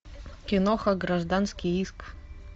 киноха гражданский иск